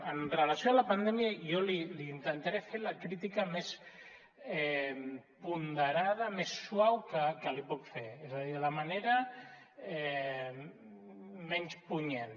en relació amb la pandèmia jo li intentaré fer la crítica més ponderada més suau que li puc fer és a dir de la manera menys punyent